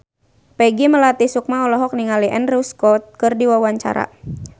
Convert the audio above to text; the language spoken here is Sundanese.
Peggy Melati Sukma olohok ningali Andrew Scott keur diwawancara